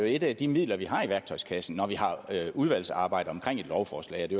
et af de midler vi har i værktøjskassen når vi har udvalgsarbejde om et lovforslag og det